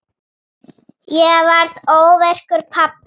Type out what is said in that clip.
Ég varð óvirkur pabbi.